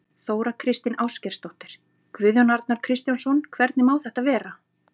Þóra Kristín Ásgeirsdóttir: Guðjón Arnar Kristjánsson, hvernig má þetta vera?